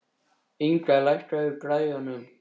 Inga, lækkaðu í græjunum.